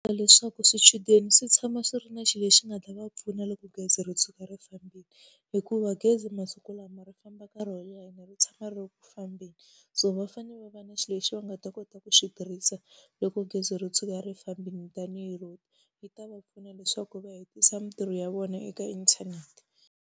Leswaku swichudeni swi tshama swi ri na xilo lexi nga ta va pfuna loko gezi ro tshuka ri fambile. Hikuva gezi masiku lama ri famba nkarhi wo leha ene ri tshama ri ri ku fambeni. Se va fanele va va na xilo lexi va nga ta kota ku xi tirhisa loko gezi ro tshuka ri fambile tanihi router. Yi ta va pfuna leswaku va hetisa mintirho ya vona eka inthanete.